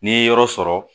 N'i ye yɔrɔ sɔrɔ